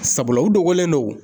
Sabula u dogolen do